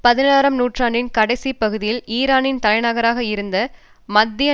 பதினாறு ஆம் நூற்றாண்டின் கடைசிப் பகுதியில் ஈரானின் தலை நகராக இருந்த மத்திய